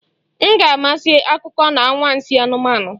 M ga-amasị akụkọ na anwansi anụmanụ